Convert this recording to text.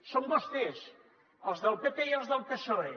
són vos·tès els del pp i els del psoe